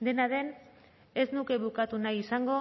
dena den ez nuke bukatu nahi izango